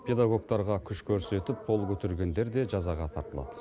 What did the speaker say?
педагогтарға күш көрсетіп қол көтергендер де жазаға тартылады